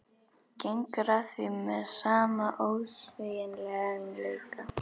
Gengur að því með sama ósveigjanleika.